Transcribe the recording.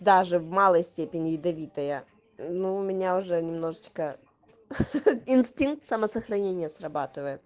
даже в малой степени ядовитая но у меня уже немножечко инстинкт самосохранения срабатывает